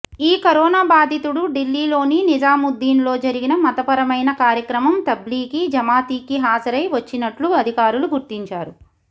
ఈ కరోనా బాధితుడు ఢిల్లీలోని నిజాముద్దీన్ లో జరిగిన మతపరమైన కార్యక్రమం తబ్లిగీ జమాతీకి హాజరై వచ్చినట్లు అధికారులు గుర్తించారు